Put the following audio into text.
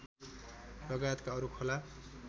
लगायतका अरू खोला